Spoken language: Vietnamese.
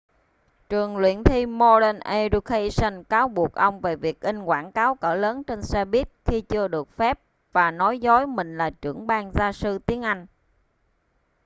trường luyện thi modern education cáo buộc ông về việc in quảng cáo cỡ lớn trên xe buýt khi chưa được phép và nói dối mình là trưởng ban gia sư tiếng anh